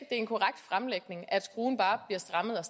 en korrekt fremlægning at skruen bare bliver strammet mere